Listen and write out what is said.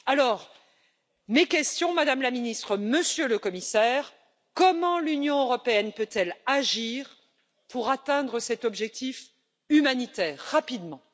Alors, voici mes questions, Madame la Ministre, Monsieur le Commissaire premièrement, comment l'Union européenne peut elle agir pour atteindre cet objectif humanitaire rapidement?